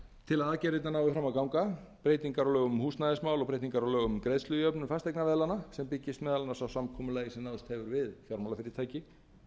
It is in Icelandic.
til að aðgerðirnar nái fram að ganga breytingar á lögum um húsnæðismál og breytingar á lögum um greiðslujöfnun fasteignaveðlána sem byggist meðal annars á samkomulagi sem náðst hefur við fjármálafyrirtæki